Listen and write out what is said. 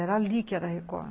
Era ali que era a Record.